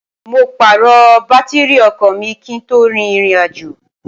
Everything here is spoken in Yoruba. mo pààrọ̀ bátírrì ọkọ̀ mi kí n tó rin irìnàjò